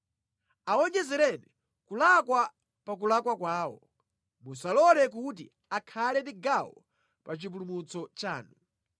Awonjezereni kulakwa pa kulakwa kwawo, musalole kuti akhale ndi gawo pa chipulumutso chanu.